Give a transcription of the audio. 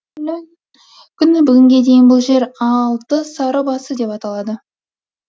күні бүгінге дейін бұл жер алты сары басы деп аталады